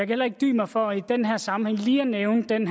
heller ikke dy mig for i den her sammenhæng lige at nævne den